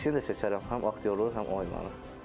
İkisini də seçərəm, həm aktyorluğu, həm oymağı.